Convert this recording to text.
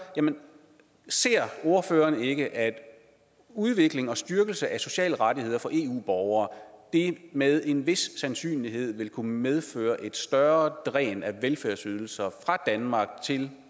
ser ordføreren ikke at en udvikling og styrkelse af de sociale rettigheder for eu borgere med en vis sandsynlighed vil kunne medføre et større dræn af velfærdsydelser fra danmark til